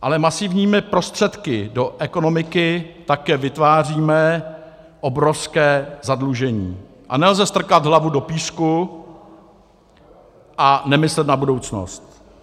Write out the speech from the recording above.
Ale masivními prostředky do ekonomiky také vytváříme obrovské zadlužení, a nelze strkat hlavu do písku a nemyslet na budoucnost.